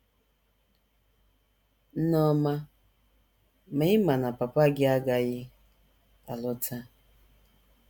Nne ọma, ma, ị̀ ma na papa gị agaghị alọta? ”